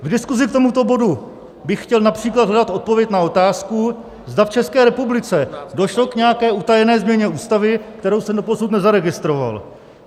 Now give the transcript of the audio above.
V diskuzi k tomuto bodu bych chtěl například hledat odpověď na otázku, zda v České republice došlo k nějaké utajené změně Ústavy, kterou jsem doposud nezaregistroval.